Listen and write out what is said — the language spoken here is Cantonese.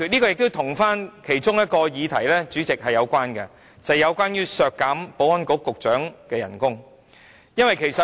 另一個議題亦有關聯，便是削減保安局局長的薪酬。